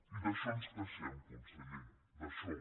i d’això ens queixem con·seller d’això